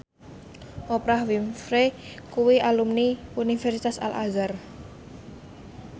Oprah Winfrey kuwi alumni Universitas Al Azhar